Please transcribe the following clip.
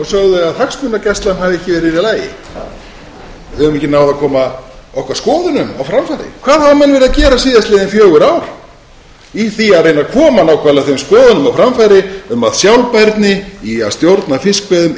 sögðu að hagsmunagæslan hafi ekki verið í lagi við höfum ekki náð að koma okkar skoðunum á framfæri hvað hafa menn verið að gera síðastliðin fjögur ár í því að reyna að koma nákvæmlega þeim skoðunum á framfæri um að sjálfbærni í að stjórna fiskveiðum